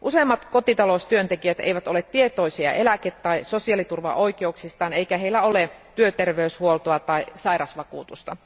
Useimmat kotitaloustyöntekijät eivät ole tietoisia eläke tai sosiaaliturvaoikeuksistaan eikä heillä ole työterveyshuoltoa tai sairasvakuutusta.